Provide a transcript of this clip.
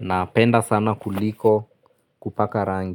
napenda sana kuliko kupaka rangi.